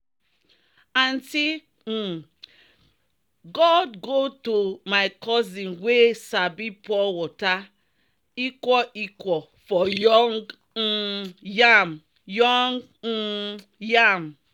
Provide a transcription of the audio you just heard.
"aunty um gourd go to my cousin wey sabi pour water equal-equal for young um yam." young um yam."